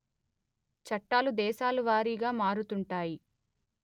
చట్టాలు దేశాలవారీగా మారుతుంటాయి